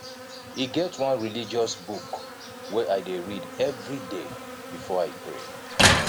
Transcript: e get one religious book wey i dey read everyday before i pray